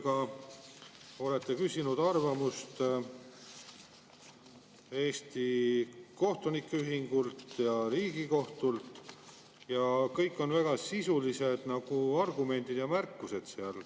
Te olete küsinud arvamust Eesti Kohtunike Ühingult ja Riigikohtult, kõik on väga sisulised argumendid ja märkused.